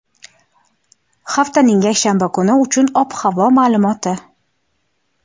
haftaning yakshanba kuni uchun ob-havo ma’lumoti.